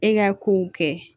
E ka kow kɛ